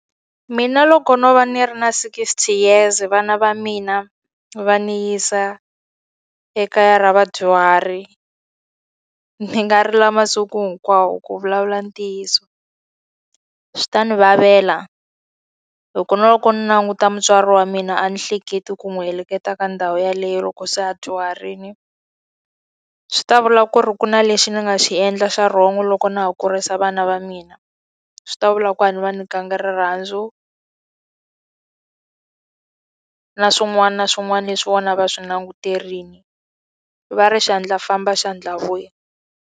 Mina loko no va ni ri na sixty years vana va mina va ndzi yisa ekaya ra vadyuhari, ndzi nga rila masiku hinkwawo ku vulavula ntiyiso. Swi ta ni lavela. Loko na loko ni languta mutswari wa mina a ni hleketi ku n'wi heleketa ka ndhawu yeleyo loko se a dyuharile. Swi ta vula ku ri ku na lexi ni nga xi endla xa wrong loko na ha kurisa vana va mina. Swi ta vula ku a nga va nyikanga rirhandzu na swin'wana na swin'wana leswi vona a va swi languterile. Va ri xandla famba, xandla vuya.